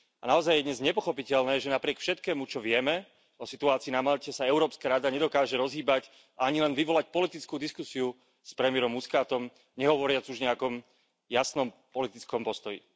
A naozaj je dnes nepochopiteľné, že napriek všetkému, čo vieme o situácii na Malte, sa Európska rada nedokáže rozhýbať a ani len vyvolať politickú diskusiu s premiérom Muscatom, nehovoriac už o nejakom jasnom politickom postoji.